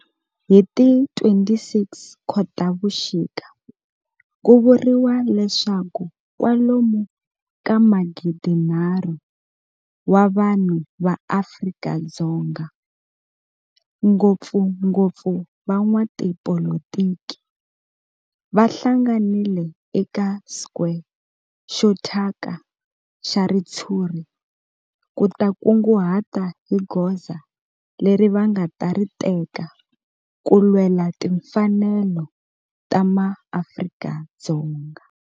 Hi ti 26 Khotavuxika ku vuriwa leswaku kwalomu ka magidinharhu wa vanhu va Afrika-Dzonga, ngopfungopfu van'watipolitiki va hlanganile eka square xo thyaka xa ritshuri ku ta kunguhata hi goza leri va nga ta ri teka ku lwela timfanelo ta maAfrika-Dzonga.